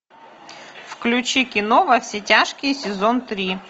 включи кино во все тяжкие сезон три